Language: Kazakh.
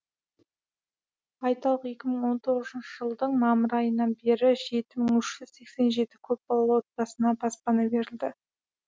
айталық екі мың он тоғызыншы жылдың мамыр айынан бері жеті мың үш жүз сексен жеті көпбалалы отбасына баспана берілді